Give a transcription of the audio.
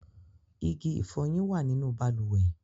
Ìgì-ìfọ́yin wa nínu bàlúwè.